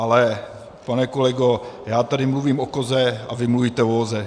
Ale pane kolego, já tady mluvím o koze, a vy mluvíte o voze.